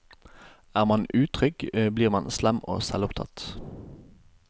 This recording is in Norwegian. Er man utrygg, blir man slem og selvopptatt.